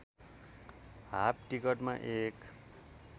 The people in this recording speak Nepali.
हाफ टिकटमा एक